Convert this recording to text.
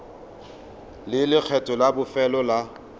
le lekgetho la bofelo la